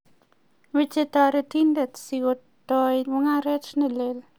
mache taretindet si ko toi mungaret ne lel